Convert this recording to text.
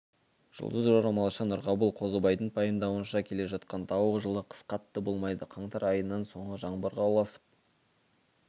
жұлдызжорамалшы нұрғабыл қозыбайдың пайымдауынша келе жатқан тауық жылы қыс қатты болмайды қаңтар айының соңы жаңбырға ұласып